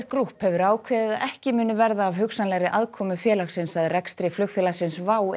Group hefur ákveðið að ekki muni verða af hugsanlegri aðkomu félagsins að rekstri flugfélagsins WOW